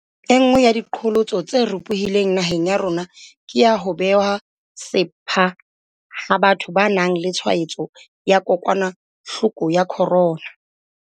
Enngwe ya diqholotso tse ropohileng naheng ya rona ke ya ho bewa sepha ha batho ba nang le tshwaetso ya kokwanahloko ya corona.